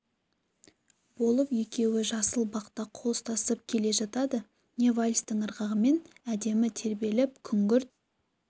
болып екеуі жасыл бақта қол ұстасып келе жатады не вальстің ырғағымен әдемі тербеліп күңгірт